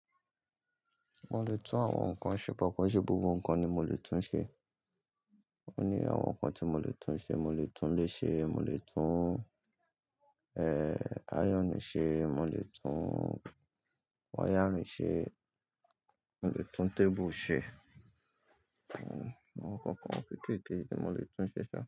Mo lè tún àwọn nǹkan ṣe, bọ̀ kọ̀ńṣe, gbogbo nǹkan ni mo lè tún ṣe. Ó ní àwọn nǹkan tí mo lè tún ṣe, mo lè tún ilé ṣe, mo lè tún, eh, áyọ̀nù ṣe, mo lè tún wáyárìn ṣe, mo lè tún tébù ṣe. Àwọn nǹkan kan kékeke ni mo lè tún ṣe sẹ̀